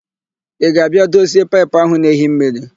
Ị ga-abịa dozie paịpụ áhụ̀ na-ehi mmiri?